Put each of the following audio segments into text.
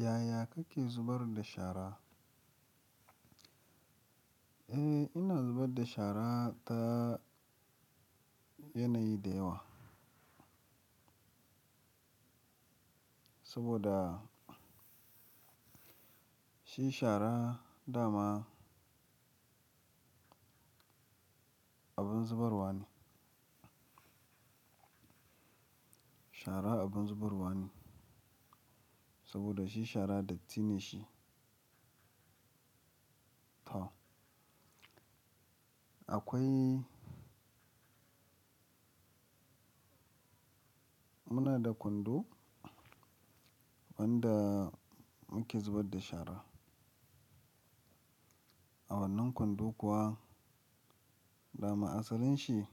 Yaya kake zubar da shara? Eh ina zubar da shara ta yanayi da yawa. Saboda shi shara dama abin zubarwa ne. Shara abin zubarwa ne saboda shi shara dattine shi. To akwai muna da kwando wanda muke zubar da shara. A wannan kwando kuwa dama asalin shi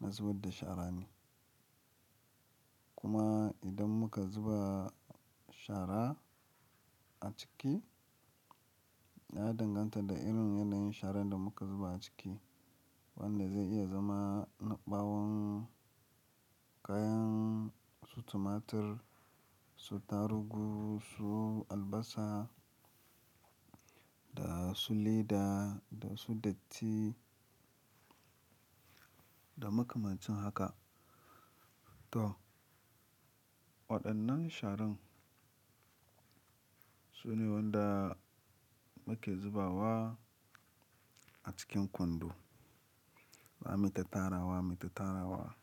na zubar da shara ne. Kuma idan muka zuba shara a ciki ya danganta da irin yanayin sharan da muka zuba a ciki wanda zai iya zama na ɓawon kayan su tumatir, su tarugu, su albasa da su leda da su datti da makamancin haka. To waɗannan sharan su ne wandan muke zubawa a cikin kwando. Ba mita tarawa mita tarawa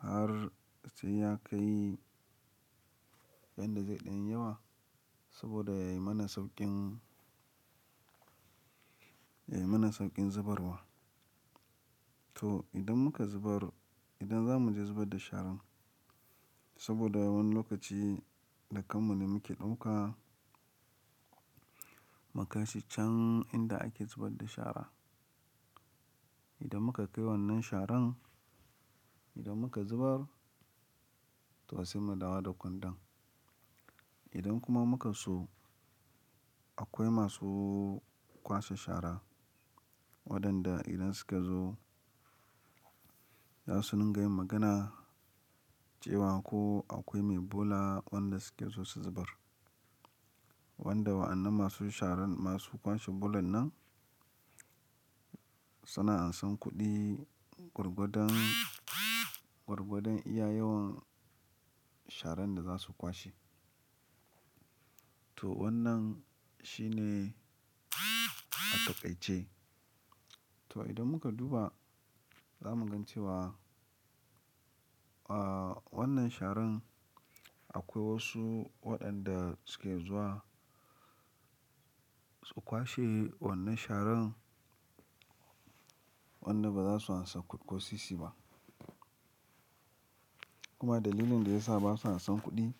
har sai ya kai yanda zai dan yi yawa, saboda yayi mana sauƙin, yayi mana sauƙin zubarwa. To idan muka zubar idan za mu je zubar da sharan saboda wani lokaci da kanmu ne muke ɗauka mukai shi can inda ake zubar da shara. Idan muka kai wannan sharan idan muka zubar to sai mu dawo da kwandon. Idan kuma muka so akwai masu kwasa shara waɗanda idan suka zo za su dinga yin magana cewa ko akwai mai bola wanda suke so su zubar. Wanda wa'annan masu sharan masu kwashe bolan nan suna ansan kuɗi gwargwadan, gwargwadan iya yawan sharan da za su kwashe. To wannan shine a taƙaice. To idan muka duba za mu gan cewa, ah wannan sharan akwai wasu waɗanda suke zuwa su kwashe wannan sharan wanda ba za su ansa kosisi ba. Kuma dalilin da ya sa ba su ansan kuɗi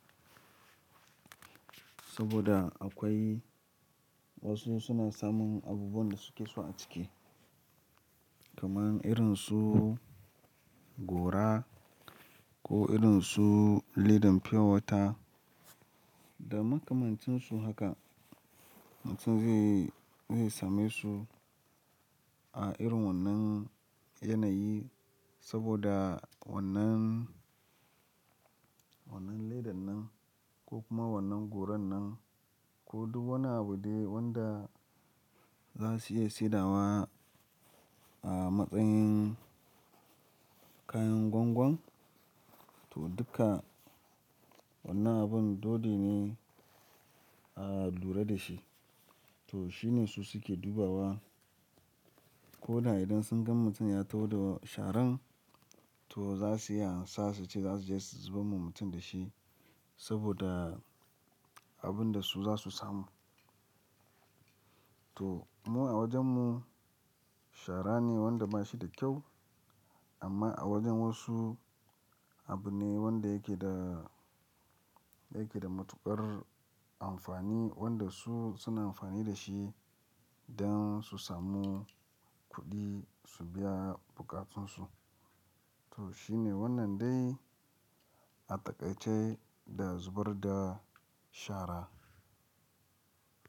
saboda akwai wasu suna samun abubuwan da suke so a ciki. Kaman irin su gora ko irin su ledan purewater da makamancin su haka. Mutum zai, zai same su a irin wannan yanayi saboda wannan, wannan ledan nan ko kuma wannan goron nan ko duk wani abu dai wanda za su iya saidawa a matsayin kayan gwangwam. To duka wannan abun dodi ne a lura da shi. To shi ne su suke dubawa. Ko da idan sun gan mutum ya taho da sharan to za su iya ansa su ce za su je su zubar wa mutum da shi saboda abun da su za su samu. To mu a wajen mu shara ne wanda ba shi da kyau amma a wajen wasu abu ne wanda yake da, suna ansan kuɗi gwargwadan, gwargwadan iya yawan sharan da za su kwashe. To shi ne wannan dai a taƙaice da zubar da shara.